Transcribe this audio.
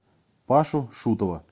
пашу шутова